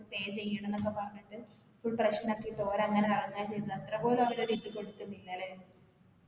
pay ചെയ്യണം എന്നൊക്കെ പറഞ്ഞിട്ട് full പ്രശ്‌നാക്കിട്ട് ഓരങ്ങന ഇറങ്ങാന ചെയ്ത അത്രപോലും അവര് ഒരു ഇത് കൊടുകുന്നില്ലലെ